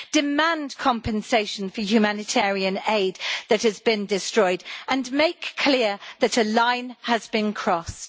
Demand compensation for humanitarian aid that has been destroyed and make clear that a line has been crossed.